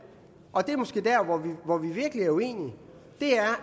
og det er måske der hvor vi virkelig er uenige